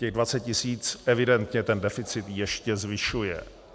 Těch 20 tisíc evidentně ten deficit ještě zvyšuje.